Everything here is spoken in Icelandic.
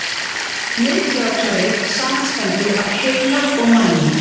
Miðtaugakerfið samanstendur af heila og mænu.